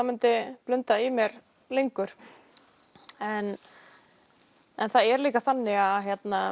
myndi blunda í mér lengur en en það er líka þannig að